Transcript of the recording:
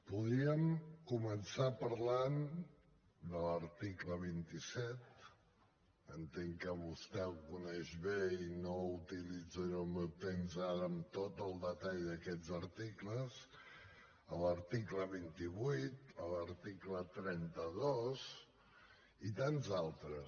podríem començar parlant de l’article vint set entenc que vostè el coneix bé i no utilitzaré el meu temps ara amb tot el detall d’aquests articles l’article vint vuit l’article trenta dos i tants d’altres